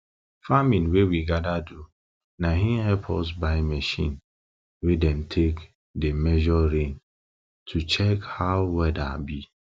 farming wey we gather do na in help us buy machine wey dem take dey measure rain to check how weather be